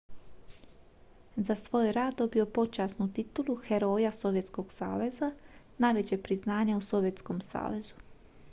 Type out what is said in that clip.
za svoj je rad dobio počasnu titulu heroja sovjetskog saveza najveće priznanje u sovjetskom savezu